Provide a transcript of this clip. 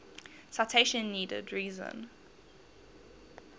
citation needed reason